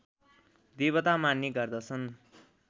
देवता मान्ने गर्दछन्